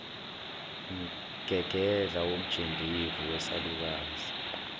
mgegedla womjendevu wesalukazi